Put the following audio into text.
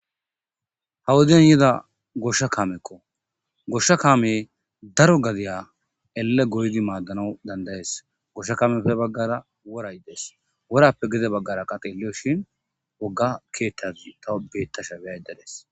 Ha wodiyani yidda gosha kameko gosha kameyi darro gadiya ele goyidi maddanawu danidayesi gosha kamepe ha baggara worayi desi worape gede bagara taw wogga kethazi betashe desi